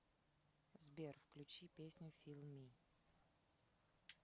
сбер включи песню фил ми